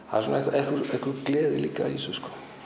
það er einhver gleði líka í þessu